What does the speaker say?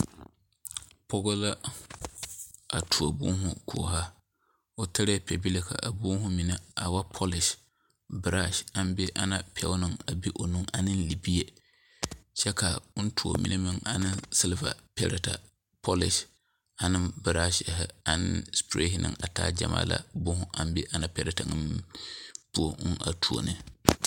pɔge la a tuo boma kɔɔra, o tare pɛbile ka a boma mine a wa polis, brush aŋ be Ana pɛɛ na a be o nu, ane libie kyɛ ka ɔŋ tuo mine meŋ ane sliver pɛrɛɛtɛ, Polish, ane brushsiri ane spray ane a taa gyamaa la boma aŋ be Ana pɛɛrɛɛtɛ ŋa poɔ ɔŋ a tuo ne.